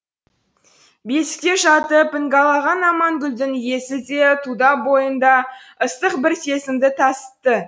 бесікте жатып іңгәлаған амангүлдің иісі де тұла бойында ыстық бір сезімді тасытты